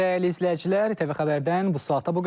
Dəyərli izləyicilər, ATV Xəbərdən bu saata bu qədər.